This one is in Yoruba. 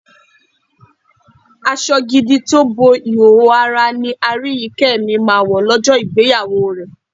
Aṣọ gidi tó bo ìhòòhò ara ni Aríyìíkẹ́ mi máa wọ̀ lọ́jọ́ ìgbéyàwó rẹ̀.